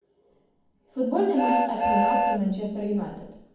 футбольный матч арсенал и манчестер юнайтед